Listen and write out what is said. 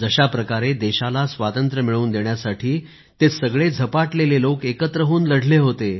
जशाप्रकारे देशाला स्वातंत्र्य मिळवून देण्यासाठी ते सगळे झपाटलेले लोक एकत्र होऊन लढले होते